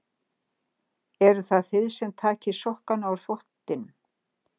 Eruð það þið sem takið sokkana úr þvottinum?